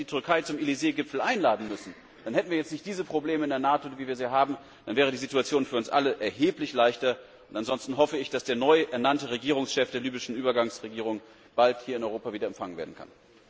Aber man hätte die Türkei zum Elysée Gipfel einladen müssen, dann hätten wir jetzt nicht diese Probleme in der NATO, dann wäre die Situation für uns alle erheblich leichter. Ansonsten hoffe ich, dass der neu ernannte Regierungschef der libyschen Übergangsregierung bald hier in Europa empfangen werden kann.